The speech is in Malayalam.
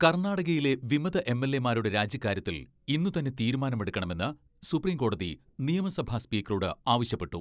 കർണാടകയിലെ വിമത എം.എൽ.എമാരുടെ രാജിക്കാര്യത്തിൽ ഇന്നു തന്നെ തീരുമാനമെടുക്കണമെന്ന് സുപ്രീംകോടതി നിയമസഭാ സ്പീക്കറോട് ആവശ്യപ്പെട്ടു.